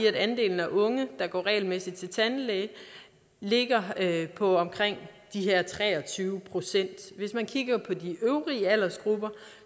at andelen af unge der ikke går regelmæssigt til tandlæge ligger på omkring de her tre og tyve procent hvis man kigger på de øvrige aldersgrupper